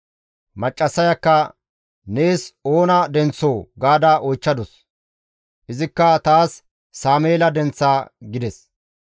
Maccassayakka, «Nees oona denththoo?» gaada oychchadus. Izikka, «Taas Sameela denththa» gides.